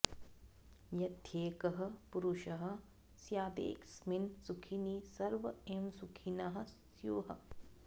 यद्येकः पुरुषः स्यादेकस्मिन् सुखिनि सर्व एव सुखिनः स्युः